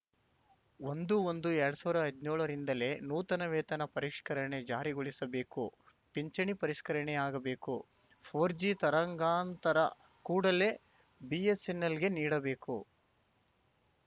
ಒಂದುಒಂದುಎರಡ್ ಸಾವಿರ್ದ್ ಹದ್ನ್ಯೋಳರಿಂದಲೇ ನೂತನ ವೇತನ ಪರಿಷ್ಕರಣೆ ಜಾರಿಗೊಳಿಸಬೇಕು ಪಿಂಚಣಿ ಪರಿಷ್ಕರಣೆಯಾಗಬೇಕು ಫೋರ್ ಜಿ ತರಂಗಾಂತರ ಕೂಡಲೇ ಬಿಎಸ್ಸೆನ್ನೆಲ್‌ಗೆ ನೀಡಬೇಕು